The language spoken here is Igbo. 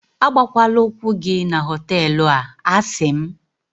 agbakwala ụkwụ gị na họtelu a, a sị m